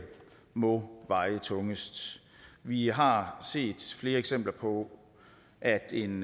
må veje tungest vi har set flere eksempler på at en